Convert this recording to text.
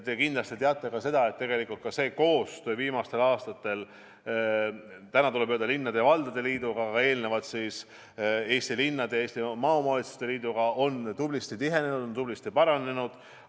Te kindlasti teate ka seda, et tegelikult viimastel aastatel on koostöö nüüd siis Eesti Linnade ja Valdade Liiduga, varem Eesti Linnade Liidu ja Eesti Maaomavalitsuste Liiduga tublisti tihenenud, tublisti paranenud.